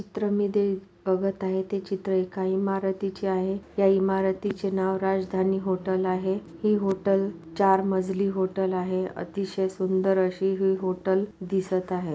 चित्रामध्ये बघत आहे ते चित्र एका इमारतीचे आहे या इमारतीचे नाव राजधानी हॉटेल आहे. ही हॉटेल चार मजली हॉटेल आहे अतिशय सुंदर अशी ही हॉटेल दिसत आहे.